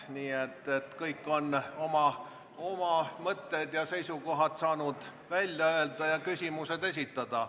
Nii et kõik on saanud oma mõtted ja seisukohad välja öelda ja küsimused esitada.